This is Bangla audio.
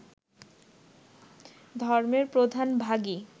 ধর্মের প্রধান ভাগই